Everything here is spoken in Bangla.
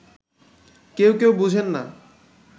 কেউ কেউ বুঝেন না